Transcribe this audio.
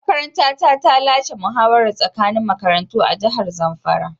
Makaranta ta lashe muhawarar tsakanin makarantu a jihar zamfara.